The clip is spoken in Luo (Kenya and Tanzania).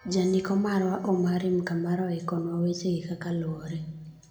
Jandiko marwa Omary Mkambara oikonwa wechegi kakaluwore.